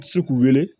Ti se k'u wele